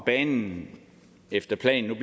banen efter planen